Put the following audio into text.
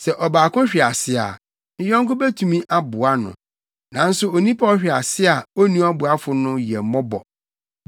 Sɛ ɔbaako hwe ase a ne yɔnko betumi aboa no. Nanso onipa a ɔhwe ase a onni ɔboafo no, yɛ mmɔbɔ.